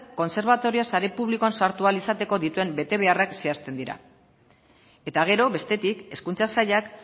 kontserbatorioa sare publikoan sartu ahal izateko dituen betebeharrak zehazten dira eta gero bestetik hezkuntza sailak